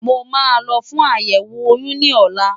Mo máa lọ fún àyẹ̀wò oyún ní ọ̀la.